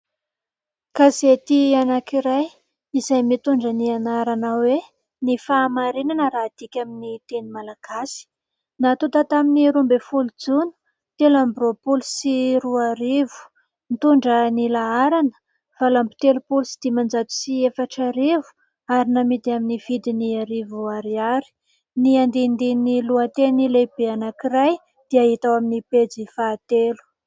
Gazety anakiray izay mitondra ny anarana hoe :" Ny fahamarinana " raha hadiaka amin'ny teny malagasy natonta tamin'ny roambinifolo jona telo amby roapolo sy roa arivo nitondra ny laharana valo amby telopolo sy dimanjato sy efatra arivo ary namidy amin'ny vidin'ny arivo ariary ny andinindin'ny lohateny lehibe anakiray dia hita ao amin'ny pejy fahatelo.